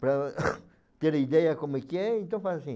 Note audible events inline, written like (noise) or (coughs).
Para (coughs) terem ideia como é que é, então faz assim,